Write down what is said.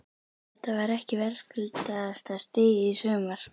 Þetta var ekki verðskuldaðasta stigið í sumar?